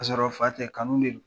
Ka sɔrɔ fa tɛ kanu de do